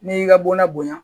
N'i y'i ka bɔnna bonya